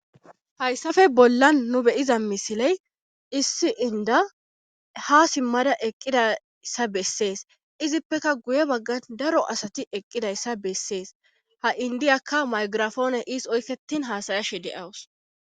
Hayssappe bollan nu beyiza misiley issi inda ha simmada eqqidayssa bessees izippeka guye baggan daro asati eqqidayssa bessees ha indiyakka maygirafoone iis oykketin haasayashi de7awus.